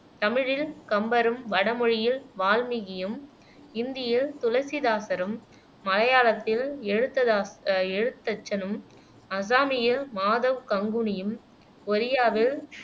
தமிழில் கம்பரும், வடமொழியில் வால்மீகியும், இந்தியில் துளசிதாசரும், மலையாளத்தில் எழுத்ததா அஹ் எழுத்தச்சனும், அசாமியில் மாதவ் கங்குனியும், ஒரியாவில்